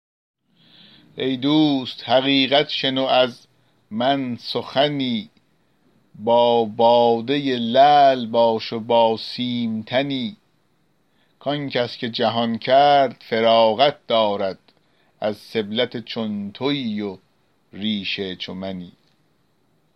ای دوست حقیقت شنو از من سخنی با باده لعل باش و با سیم تنی که آنکس که جهان کرد فراغت دارد از سبلت چون تویی و ریش چو منی